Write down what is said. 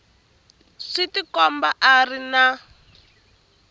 swi tikombi a ri na